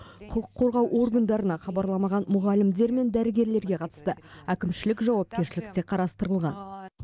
құқық қорғау органдарына хабарламаған мұғалімдер мен дәрігерлерге қатысты әкімшілік жауапкершілік те қарастырылған